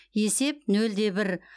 есеп нөл де бір